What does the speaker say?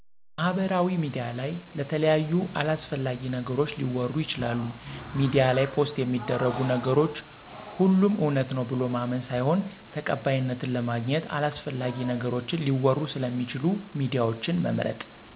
ማሀበራውያ ሚዲያ ለይ የተለያዩ አላሰፍላጊ ነገሮች ሊወሩ ይችላሉ ሜዲያ ላይ ፖሰት የሚደርጉ ነገሮች ሆሎም እውነት ነው ብሎ ማመን ሳይሆን ተቀባይነትን ለማግኝት አላሰፍላጊ ነገሮችን ሊወሩ ሰለሚችሉ ሚዲያወችን መምርጥ።